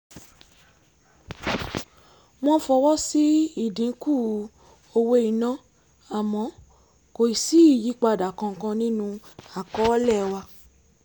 wọ́n fọwọ́ sí ìdínkù owó iná àmọ́ kò ì sí ìyípadà kankan nínú àkọọ́lẹ̀ wa